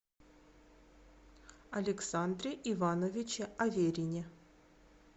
александре ивановиче аверине